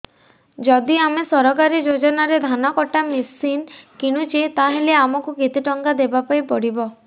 ଯଦି ଆମେ ସରକାରୀ ଯୋଜନାରେ ଧାନ କଟା ମେସିନ୍ କିଣୁଛେ ତାହାଲେ ଆମକୁ କେତେ ଟଙ୍କା ଦବାପାଇଁ ପଡିବ